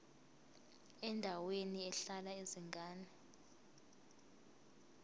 endaweni ehlala izingane